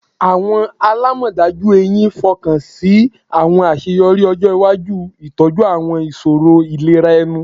Awọn alamọdaju ehín fokansi awọn aṣeyọri ọjọ iwaju.in itọju awọn iṣoro ilera ẹnu